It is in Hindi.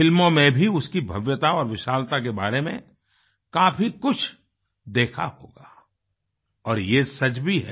फ़िल्मों में भी उसकी भव्यता और विशालता के बारे में काफी कुछ देखा होगा और ये सच भी है